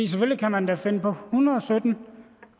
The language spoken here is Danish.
selvfølgelig kan man da finde på en hundrede og sytten